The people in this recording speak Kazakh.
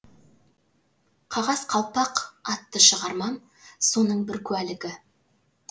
қағаз қалпақ атты шығармам соның бір куәлігі